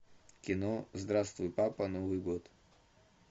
кино здравствуй папа новый год